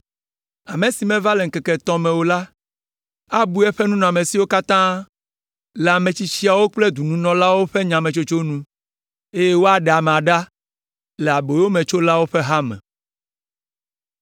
Ame si meva le ŋkeke etɔ̃ me o la, abu eƒe nunɔamesiwo katã le ametsitsiawo kple dɔnunɔlawo ƒe nyametsotso nu, eye woaɖe amea ɖa le aboyometsolawo ƒe hame.